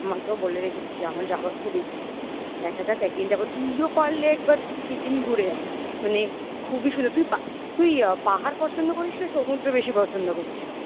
আমি বাবা মাকেও বলে রেখেছি. যেমন আমার যাওয়ার খুব ইচ্ছা. দেখা যাক একদিন যাবো তুইও পারলে একবার সিকিম ঘুরে আয় মানে খুবই সুন্দর তুই তুই পাহাড় পছন্দ করিস না সমুদ্র বেশি পছন্দ করিস?